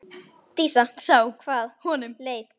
Dísa sá hvað honum leið.